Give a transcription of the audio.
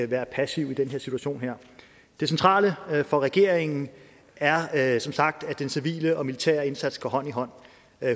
være passive i den her situation det centrale for regeringen er er som sagt at den civile og militære indsats går hånd i hånd